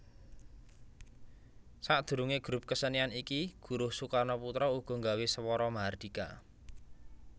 Sadurunge grup kesenian iki Guruh Soekarnoputra uga nggawe Swara Mahardhika